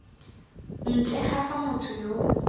ntle ga fa motho yo